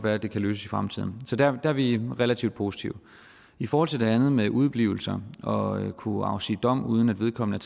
at det kan løses i fremtiden så der er vi relativt positive i forhold til det andet med udeblivelser og at kunne afsige dom uden at vedkommende